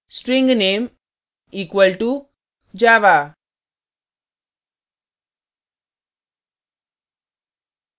string name equal to java;